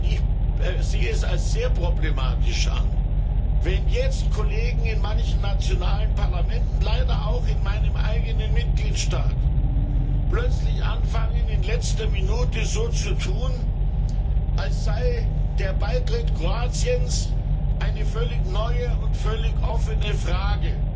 Ich sehe es als sehr problematisch an, wenn jetzt Kollegen in manchen nationalen Parlamenten leider auch in meinem eigenen Mitgliedstaat plötzlich anfangen, in letzter Minute so zu tun, als sei der Beitritt Kroatiens eine völlig neue und völlig offene Frage.